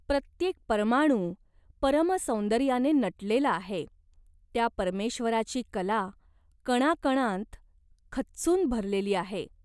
प्रत्येक परमाणू परमसौंदर्याने नटलेला आहे. त्या परमेश्वराची कला कणाकणांत खच्चून भरलेली आहे.